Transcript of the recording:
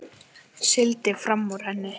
Sigldi fram úr henni.